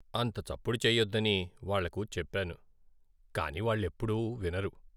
అంత చప్పుడు చెయ్యొద్దని వాళ్లకు చెప్పాను, కానీ వాళ్లెప్పుడూ వినరు.